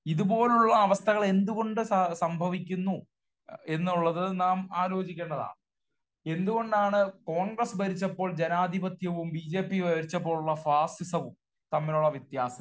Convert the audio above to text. ഇതുപോലുള്ള അവസ്ഥകൾ എന്തു കൊണ്ട് സംഭവിക്കുന്നു എന്നുള്ളത് നാം ആലോചിക്കേണ്ടതാണ്. എന്തുകണ്ടാണ് കോൺഗ്രസ്സ് ഭരിച്ചപ്പോൾ ജനാധിപത്യവും ബി ജെ പി ഭരിച്ചപ്പോഴുള്ള ഫാസിസവും തമ്മിലുള്ള വ്യത്യാസം